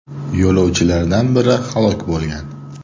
Yo‘lovchilardan biri halok bo‘lgan.